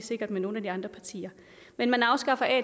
med nogle af de andre partier men man afskaffer at